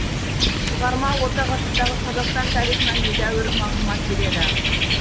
шығарма орта ғасырдағы қазақстан тарихынан едәуір мағлұмат береді